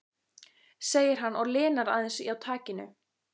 segir hann og linar aðeins á takinu.